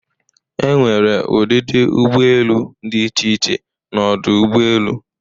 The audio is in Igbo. Enwere ụdịdị ụgbọ elu dị iche iche n'ọdụ ụgbọ elu